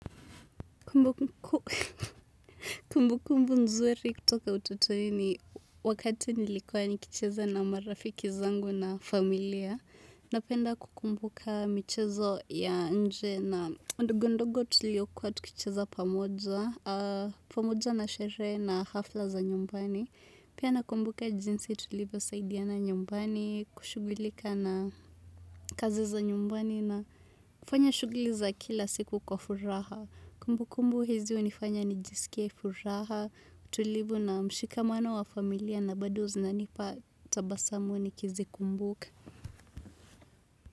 Kumbukumbu nzuri kutoka utotoni ni wakati nilikuwa nikicheza na marafiki zangu na familia. Napenda kukumbuka michezo ya nje na ndogondogo tuliokuwa tukicheza pamoja, pamoja na sherehe na hafla za nyumbani. Pia nakumbuka jinsi tulivyosaidiana nyumbani, kushughulika na kazi za nyumbani na kufanya shughuli za kila siku kwa furaha. Kumbukumbu hizi hunifanya nijisikie furaha, utulivu na mshikamano wa familia na bado zinanipa tabasamu nikizikumbuka.